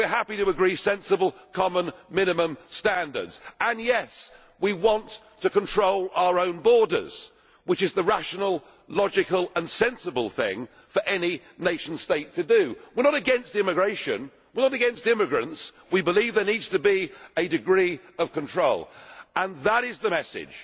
We are happy to agree sensible common minimum standards and, yes, we want to control our own borders, which is the rational, logical and sensible thing for any nation state to do. We are not against immigration or immigrants. We believe there needs to be a degree of control, and that is the message